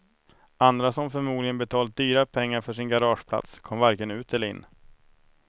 Andra som förmodligen betalat dyra pengar för sin garageplats kom varken ut eller in.